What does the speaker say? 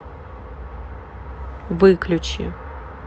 выключи